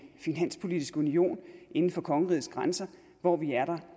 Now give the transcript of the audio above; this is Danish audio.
finanspolitisk union inden for kongerigets grænser hvor vi